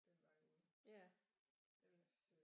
Den vej ude ellers øh